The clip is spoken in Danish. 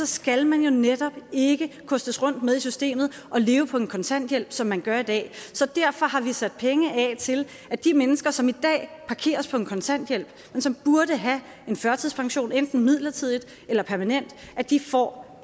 skal man jo netop ikke kostes rundt med i systemet og leve på en kontanthjælp som man gør i dag så derfor har vi sat penge af til at de mennesker som i dag parkeres på en kontanthjælp men som burde have en førtidspension enten midlertidigt eller permanent får